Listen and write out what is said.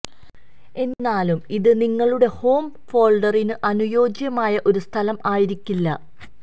എന്നിരുന്നാലും ഇത് നിങ്ങളുടെ ഹോം ഫോൾഡറിന് അനുയോജ്യമായ ഒരു സ്ഥലം ആയിരിക്കില്ല